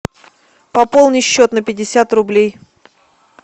пополни счет на пятьдесят рублей